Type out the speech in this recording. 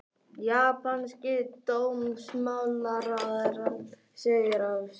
Japanski dómsmálaráðherrann segir af sér